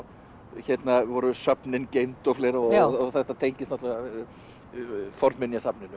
hérna voru söfnin geymd og fleira og þetta tengist